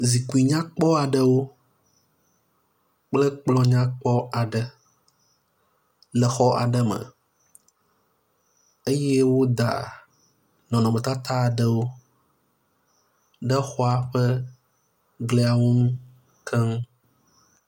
Zikpui nyakpɔ aɖewo kple kplɔ̃ nyakpɔ aɖe le xɔ aɖe me eye woda nɔnɔmetata aɖewo ɖe xɔa ƒe gliawo ŋu keŋ.